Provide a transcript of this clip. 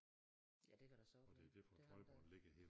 Ja det kan da sagtens være det har det da